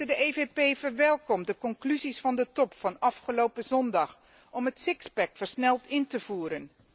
De PPE verwelkomt de conclusies van de top van afgelopen zondag om het sixpack versneld in te voeren.